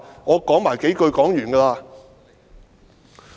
我多說幾句便會停。